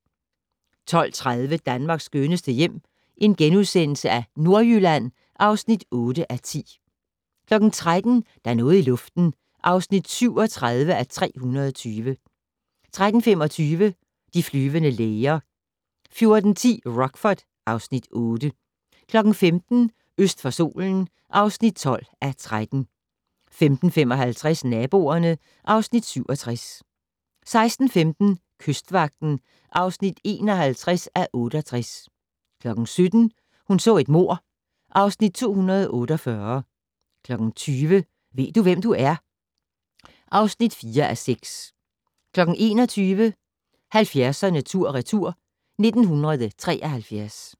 12:30: Danmarks skønneste hjem - Nordjylland (8:10)* 13:00: Der er noget i luften (37:320) 13:25: De flyvende læger 14:10: Rockford (Afs. 8) 15:00: Øst for solen (12:13) 15:55: Naboerne (Afs. 67) 16:15: Kystvagten (51:68) 17:00: Hun så et mord (Afs. 248) 20:00: Ved du, hvem du er? (4:6) 21:00: 70'erne tur/retur: 1973